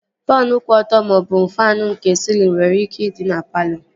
Faanụ kwụ ọtọ maọbụ faanụ nke sịlịn nwere ike ịdị na palọ